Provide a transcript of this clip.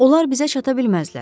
Onlar bizə çata bilməzlər.